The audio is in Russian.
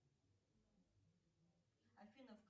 афина